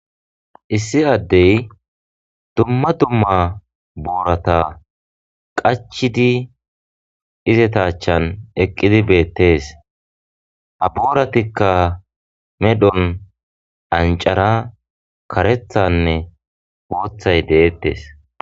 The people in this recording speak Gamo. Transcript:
Issi adde dumma dumma boorata qachchid izata aachan eqidi bettees. Ha boorattikka medhdhuwan cancare,kareththanneboththay de'ettees.